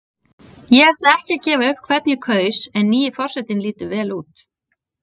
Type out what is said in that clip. Ég ætla ekki að gefa upp hvern ég kaus en nýi forsetinn lítur vel út.